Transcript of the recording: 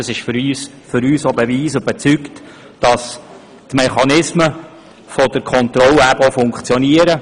Das ist für uns ein Beweis dafür, dass die Mechanismen der Kontrolle eben auch funktionieren.